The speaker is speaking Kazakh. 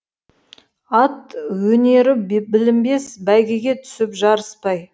ат өнері білінбес бәйгеге түсіп жарыспай